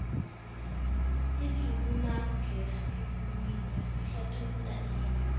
idzubulangesiluwini sihlathulula ini